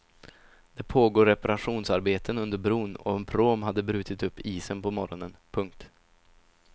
Det pågår reparationsarbeten under bron och en pråm hade brutit upp isen på morgonen. punkt